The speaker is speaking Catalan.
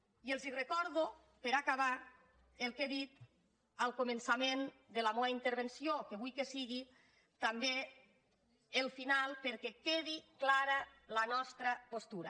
i els recordo per acabar el que he dit al començament de la meua intervenció que vull que sigui també el final perquè quedi clara la nostra postura